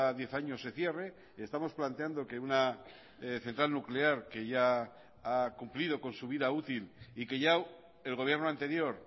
diez años se cierre estamos planteando que una central nuclear que ya ha cumplido con su vida útil y que ya el gobierno anterior